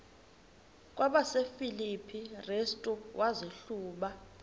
kwabasefilipi restu wazihluba